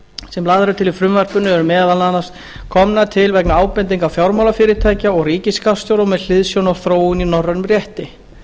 sem lagðar eru til í frumvarpinu eru meðal annars komnar til vegna ábendinga fjármálafyrirtækja og ríkisskattstjóra og með hliðsjón af þróun í norrænum rétti